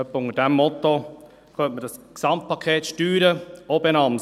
Etwa mit diesem Motto könnte man dieses Gesamtpaket Steuern auch benennen.